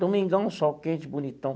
Domingão, sol quente, bonitão.